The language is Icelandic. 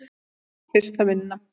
Mín fyrsta vinna.